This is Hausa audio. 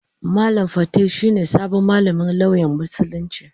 Malam fatai shi ne sabon malamin lauyan Musulunci.